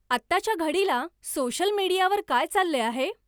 आत्ताच्या घडिला सोशल मीडियावर काय चालले आहे